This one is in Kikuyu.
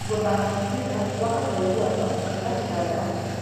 Gũthaka mũbira gwakaga ũiguano gatagatĩ ka athaki.